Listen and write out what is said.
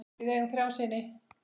Við eigum þrjá syni.